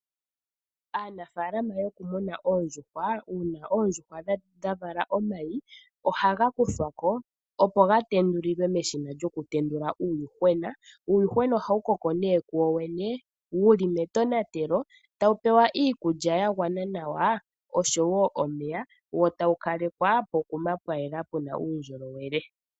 Aanafaalama yokumuna oondjuhwa, uuna oondjuhwa dha vala omayi, ohaga kuthwa ko, opo ga tendulilwe meshina lyokutendula uuyuhwena. Uuyuhwena ohawu koko kuwo wene wu li metonatelo, tawu pewa iikulya ya gwana nawa oshowo omeya, wo tawu kalekwa pokuma pwa yela pu na uundjolowele.